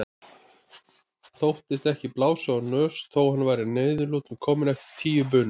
Þóttist ekki blása úr nös þó að hann væri að niðurlotum kominn eftir tíu bunur.